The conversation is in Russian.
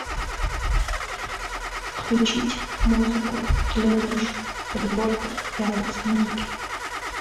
включить музыку для душа подборка яндекс музыки